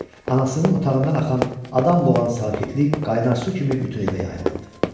Anasının otağından axan adam boğan sakitlik qaynar su kimi bütün evə yayılırdı.